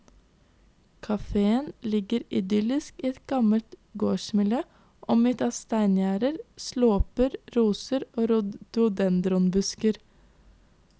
Kaféen ligger idyllisk i et gammelt gårdsmiljø omgitt av steingjerder, slåper, roser og rhohdodendronbusker.